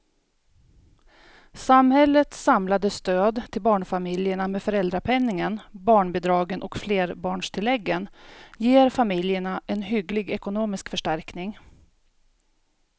Samhällets samlade stöd till barnfamiljerna med föräldrapenningen, barnbidragen och flerbarnstilläggen ger familjerna en hygglig ekonomisk förstärkning.